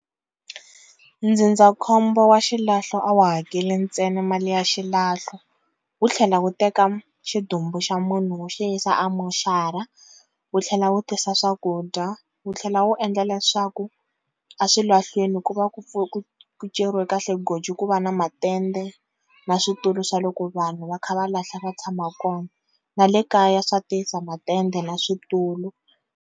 Ndzindzakhombo wa xilahlo a wu hakeli ntsena mali ya xilahlo wu tlhela wu teka xidumbu xa munhu wu xi yisa a moxara wu tlhela wu tisa swakudya wu tlhela wu endla leswaku a swilahlwini ku va ku ku ceriwe kahle goji ku va na matende na switulu swa loko vanhu va kha va lahla va tshama kona na le kaya swa tisa matende na switulu.